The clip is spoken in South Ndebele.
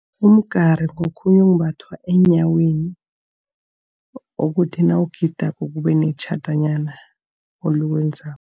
Imigari ngokhunye okumbathwa eenyaweni, ukuthi nawugidako kube netjhadanyana eliwenzako.